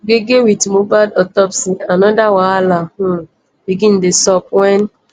gbege wit mohbad autopsy anoda wahala um begin dey sup wen